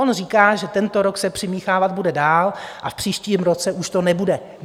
On říká, že tento rok se přimíchávat bude dál a v příštím roce už to nebude.